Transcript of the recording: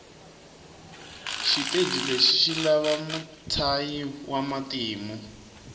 shiteji leshi shilava mutshayi wamatimu